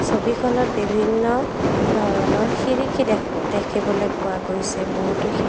ছবিখনত বিভিন্ন ধৰণৰ শিৰিকী দেখু দেখিবলৈ পোৱা গৈছে বহুতো শি--